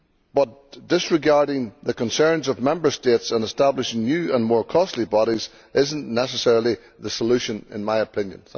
But disregarding the concerns of Member States in establishing new and more costly bodies is not necessarily the solution, in my opinion.